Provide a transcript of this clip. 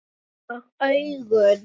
Og augun?